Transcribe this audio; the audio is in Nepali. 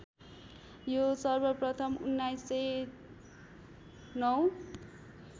यो सर्वप्रथम् १९०९